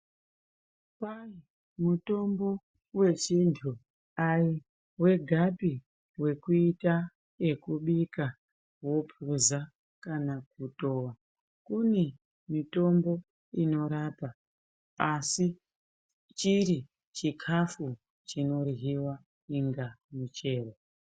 Kwai mutombo vechintu dai vegapi vekuita vekubika vopuza kana kutova. Kune mitombo inorapa asi chiri chikafu chinoryiva inga michero.